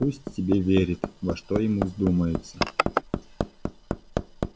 так пусть себе верит во что ему вздумается